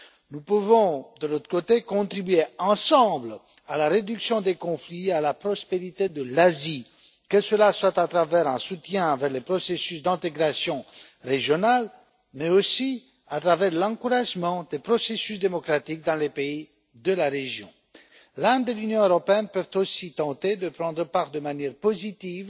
Nous pouvons, d'un autre côté, contribuer ensemble à la réduction des conflits et à la prospérité de l'Asie, que ce soit à travers un soutien aux processus d'intégration régionale, mais aussi à travers l'encouragement des processus démocratiques dans les pays de la région. L'Inde et l'Union européenne peuvent aussi tenter de prendre part de manière positive